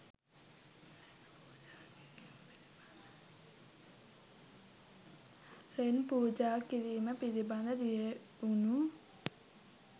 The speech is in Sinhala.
ලෙන් පූජා කිරීම පිළිබඳ ලියැවුනු